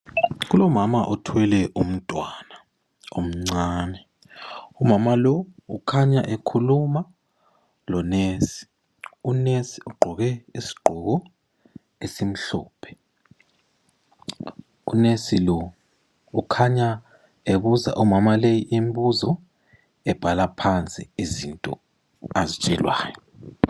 Kulo mama othwele umntwana omncane, umama lowu ukhanya ekhuluma lonesi, unesi ugqoke isigqoko esimhlophe, unesi lo ukhanya ebuza umama lo imbuzo ebhala phansi izinto azitshelwayo.